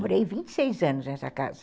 Morei vinte e seis anos nessa casa.